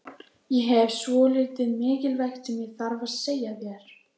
Ég hef svolítið mikilvægt sem ég þarf að segja þér.